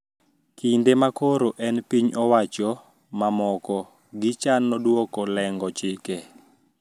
Kinde ma koro en gi piny owacho mamoko gichano duoko leng`o chike